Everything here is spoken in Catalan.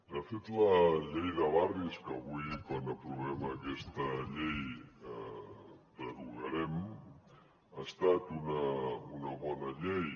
de fet la llei de barris que avui quan aprovem aquesta llei derogarem ha estat una bona llei